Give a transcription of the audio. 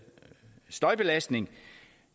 støjbelastning